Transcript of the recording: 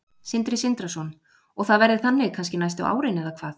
Sindri Sindrason: Og það verði þannig kannski næstu árin eða hvað?